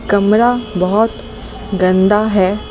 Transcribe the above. कमरा बहुत गंदा है।